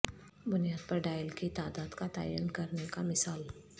بنیاد پر ڈائل کی تعداد کا تعین کرنے کا مثال